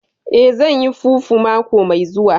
Eh, zan yi fufu mako mai zuwa